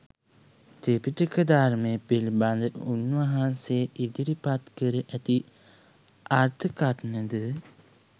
ත්‍රිපිටක ධර්මය පිළිබඳ උන්වහන්සේ ඉදිරිපත් කරඇති අර්ථකථන ද